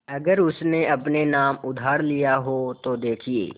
अगर उसने अपने नाम उधार लिखा हो तो देखिए